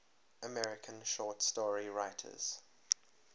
american short story writers